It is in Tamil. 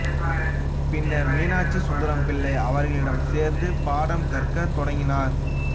பின்னர் மீனாட்சி சுந்தரம் பிள்ளை அவர்களிடம் சேர்ந்து பாடம் கற்கத் தொடங்கினார்